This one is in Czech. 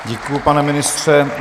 Děkuji, pane ministře.